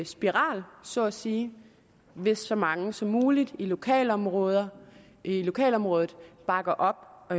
spiral så at sige hvis så mange som muligt i lokalområdet lokalområdet bakker op